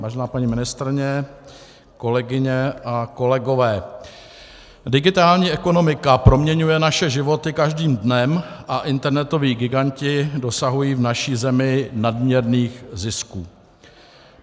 Vážená paní ministryně, kolegyně a kolegové, digitální ekonomika proměňuje naše životy každým dnem a internetoví giganti dosahují v naší zemi nadměrných zisků.